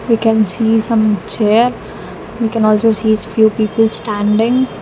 We can see some chairs we can also see few people standing.